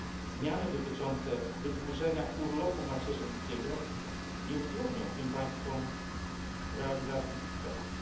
zmiany dotyczące wydłużenia urlopu macierzyńskiego nie utrudnią tym państwom realizacji ich celów?